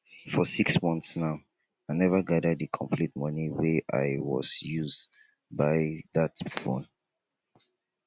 for six months now i never gather the complete money wey i was use buy dat phone